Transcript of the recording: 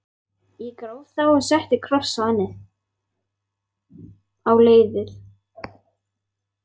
Ég gróf þá og setti kross á leiðið.